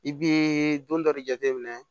I bi don dɔ de jateminɛ